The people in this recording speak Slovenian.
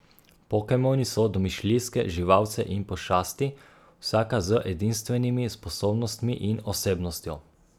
Pokemoni so domišljijske živalce in pošasti, vsaka z edinstvenimi sposobnostmi in osebnostjo.